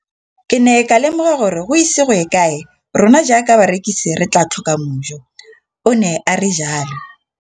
Ke ne ka lemoga gore go ise go ye kae rona jaaka barekise re tla tlhoka mojo, o ne a re jalo.